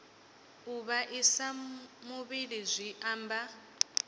u vhaisa muvhili zwi amba